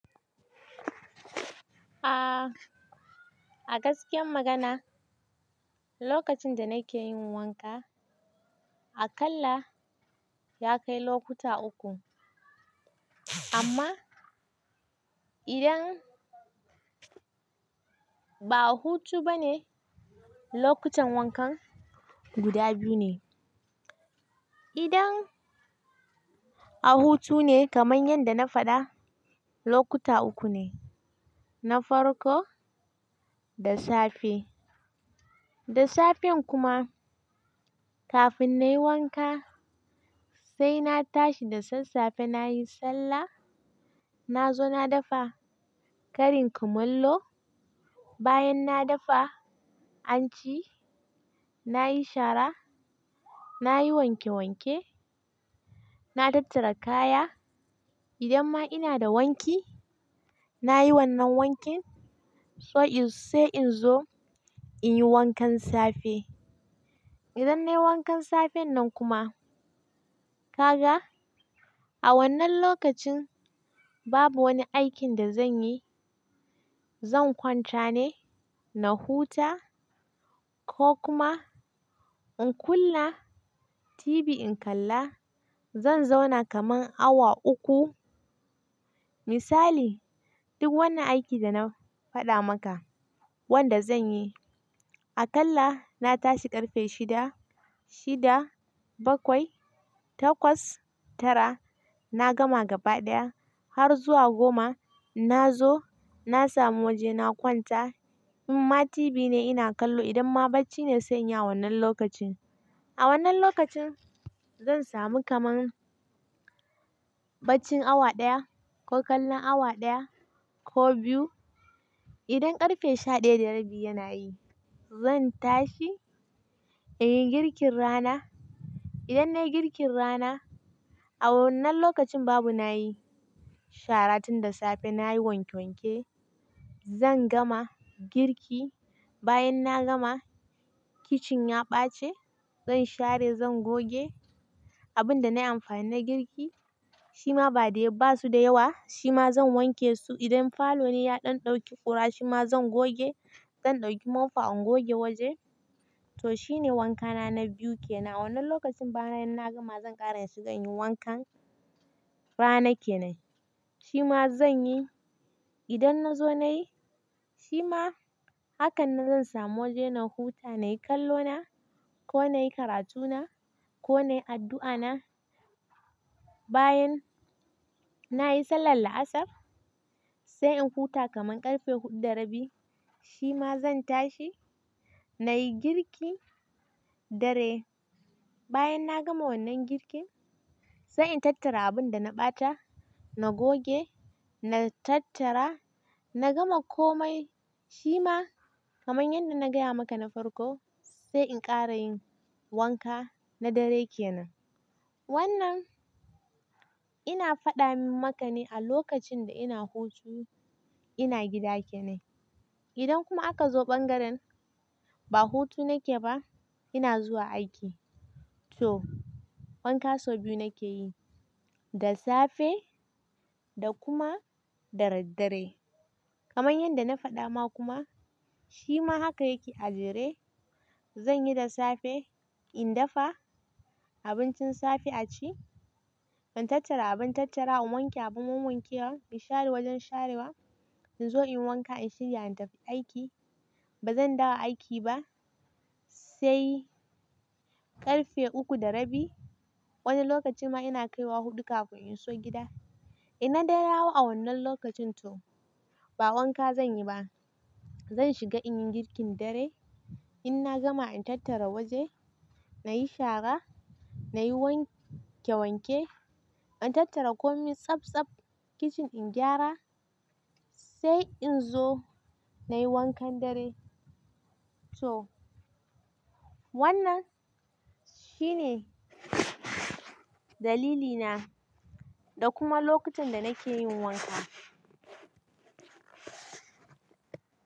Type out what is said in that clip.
Aaa, a gaskiya magana, lokacin da na ke yin wanka, aƙalla ya kai lokuta uku. Amma idan ba a hutu ba ne, lokutan wankan guda biyu ne. Idan a hutu ne kamar yadda na faɗa, lokuta uku ne. Na farko, da safe. Da safe kuma, kafin na yi wanka sai na tashi da sassafe na yi sallah. Na zo na dafa karin kumallo. Bayan na dafa, an ci. Na yi shara, na yi wanke wanke, na tattara kaya. Idan ma ina da wanki, na yi wannan wankin so sai in zo in yi wankan safe. Idan na yi wankan safen nan kuma, ka ga a wannan lokacin babu wani aikin da zan yi. Zan kwanta ne, na huta ko kuma in kunna TV in kalla. Zan zauna kamar awa uku. Misali, duk wannan aikin da na faɗa maka wanda zan yi, aƙalla na tashi ƙarfe shida, shida bakwai, takwas, tara. Na gama gaba ɗaya har zuwa goma. Na zo, na samu waje na kwanta. In ma TV ne ina kallo, idan ma bacci ne sai ya yi wannan lokacin. A wannan lokacin zan samu kamar baccin awa ɗaya ko kallon awa ɗaya ko biyu. Idan ƙarfe sha ɗaya da rabi yana yi, zan tashi in yi girkin rana. Idan na yi girkin rana, a wannan lokacin babu na yi shara tun da safe. Na yi wanke wanke. Zan gama girki. Bayan na gama, kicin ya ɓace. Zan share, zan goge abin da na yi amfani na girki. Shima ba de ba su da yawa. Shima zan wanke su. Idan falo ne ya ɗan ɗauki ƙura shima zan goge. Zan ɗauki mofa in goge waje. To shi ne wankana na biyu ke nan. Wannan lokacin bayan na gama zan ƙara inshiga inyi wankan rana ke nan. Shima zan yi idan na zo na yi. Shima hakan na zan samu waje na huta, na yi kallo na ko na yi karatu na ko na yi addu'a na. Bayan na yi sallar la'asar sai in huta kamar ƙarfe huɗu da rabi. Shima zan tashi, na yi girki dare. Bayan na gama wannan girkin sai in tattara abun da na ɓata. Na goge, na tattara, na gama komai. Shima kamar yadda na gaya maka na farko sai in ƙara yin wanka na dare ke nan. Wannan ina faɗa maka ne a lokacin da ina hutu ina gida ke nan. Idan kuma aka zo ɓangaren ba hutu nake ba, ina zuwa aiki. To wanka sau biyu nake yi, da safe da kuma da daddare. Kamar yadda na faɗa ma kuma shima haka yake a jere. Zan yi da safe, in dafa abincin safe a ci. In tattara abun tattara, in wanke abun wanke wa, in share wajen sharewa. In zo in yi wanka, in shirya in tafi aiki. Ba zan dawo aiki ba sai ƙarfe uku da rabi. Wani lokaci ma ina kaiwa huɗu kafin in zo gida. In na dawo a wannan lokacin to ba wanka zan yi ba. Zan shiga in yi girkin dare. In na gama in tattara waje, na yi shara, na yi wanke wanke. In tattara komai tsaftsaf kicin in gyara sai in zo na yi wankan dare. To wannan shi ne dalilina da kuma lokacin da na ke yin wanka.